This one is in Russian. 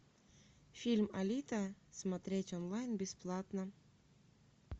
фильм алита смотреть онлайн бесплатно